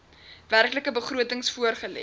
werklike begrotings voorgelê